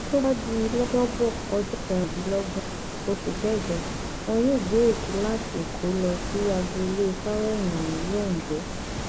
tó bá di lọjọbọ ọjọ kẹrìndínlọgbọn oṣù kẹjọ wọn yóò gbé òkú láti èkó lọ sí agboolé fawéhínmí londo